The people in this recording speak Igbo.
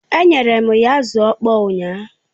Enyere m ya azụ ọkpọr ụnyaahụ